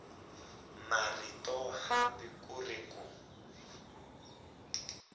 marito hambi ku ri ku